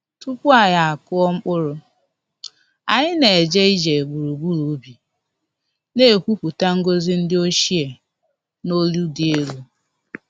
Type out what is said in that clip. Tupu anyị akụọ mkpụrụ, anyị na-eje ije gburugburu ubi, na-ekwupụta ngọzi ndi ochie n’olu dị elu.